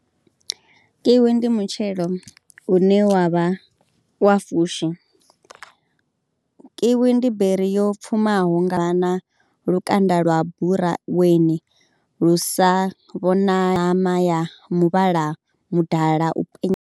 Kiwi ndi mutshelo une wa vha wa fushi, kiwi ndi beri yo pfhumaho nga na lukanda lwa buraweni lu sa vhona, ṋama ya muvhala mudala u penya.